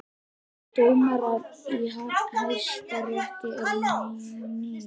Dómarar í Hæstarétti eru nú níu